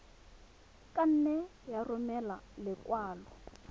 ka nne ya romela lekwalo